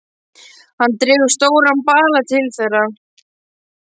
Hann dregur stóran bala til þeirra.